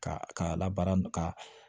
Ka k'a la baara nn ka